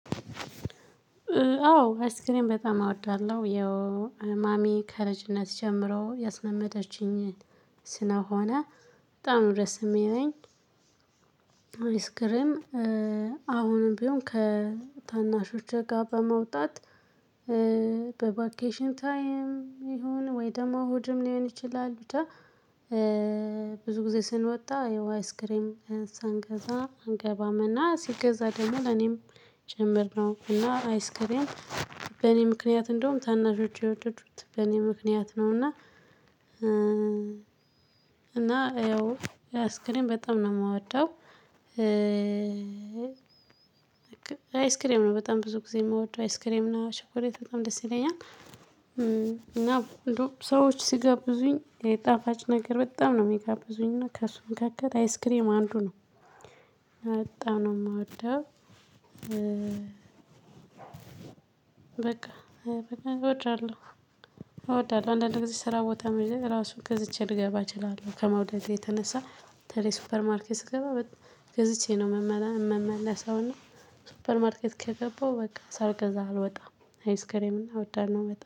አዎ አይስ ክሬም በጣም አወዳለሁ ማሚ ከልጅነት ጀምሮ ያስለመደችኝ ስለሆነ በጣም ደስ የሚለኝ አይስክሬም አሁንም ቢሆን ከታናሾች ጋር በመውጣት። በቫኬሽን ታይም ይሁን ወይ ደግሞ እሁድም ሊሆን ይችላል ብቻ። ብዙ ጊዜ ስንወጣ የውሃ አይስክሬም ሳንገዛ አንገባም እና ሲገዛ ደግሞ ለኔም ጭምርነው እና አይስክሪም በእኔ ምክንያት እንደውም ታናሾቸ የወደዱት በእኔ ምክንያት ነው እና። እና ያው አይስክሬም በጣም ነው የምወደው። አይስክሬም ነው በጣም ብዙ ጊዜ የምወደው አይስክሬም እና ቾኮሌት በጣም ደስ ይለኛል። እና እንደው ሰዎች ሲጋብዙኝ ጣፋጭ ነገር በጣም ነው የሚጋብዙኝ እና ከሱ መካከል አይስክሬም አንዱ ነው በጣምነው የምወደው። በቃ እወዳለሁ እወዳለሁ አንዳንድ ጊዜ ስራ ቦታ መሄድ ራሱ ገዝቼ ልገባ እችላለሁ ከመውደድ የተነሳ። በተለይ ሱፐርማርኬት ስገባ ገዝቼ ነው የምመለሰውና የምመለሰው እና። ሱፐር ማርኬት ከገባው በቃ ሳልገዛ አልወጣም አይስክሬም እና እወዳለሁ በጣም